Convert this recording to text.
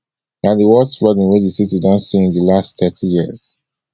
na di worst flooding wey di city don se in di last thirty years